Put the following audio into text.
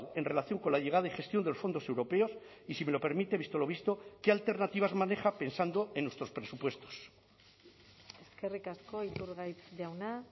en relación con la llegada y gestión de los fondos europeos y si me lo permite visto lo visto qué alternativas maneja pensando en nuestros presupuestos eskerrik asko iturgaiz jauna